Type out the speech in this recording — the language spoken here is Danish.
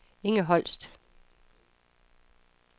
Inge Holst